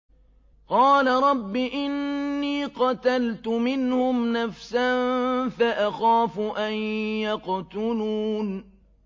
قَالَ رَبِّ إِنِّي قَتَلْتُ مِنْهُمْ نَفْسًا فَأَخَافُ أَن يَقْتُلُونِ